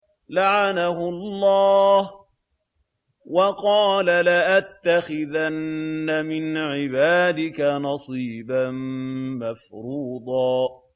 لَّعَنَهُ اللَّهُ ۘ وَقَالَ لَأَتَّخِذَنَّ مِنْ عِبَادِكَ نَصِيبًا مَّفْرُوضًا